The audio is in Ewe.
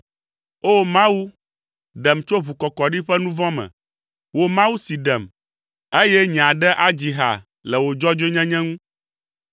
O! Mawu, ɖem tso ʋukɔkɔɖi ƒe nu vɔ̃ me, wò Mawu si ɖem, eye nye aɖe adzi ha le wò dzɔdzɔenyenye ŋu.